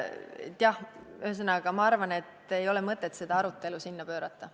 Jah, ühesõnaga, ma arvan, et ei ole mõtet seda arutelu sinna pöörata.